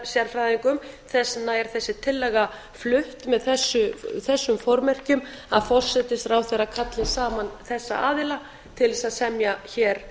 auðlindarértttarsérfæðingum þess vegna er þessi tillaga flutt með þessum formerkjum að forsætisráðherra kalli saman þessa aðila til þess að semja hér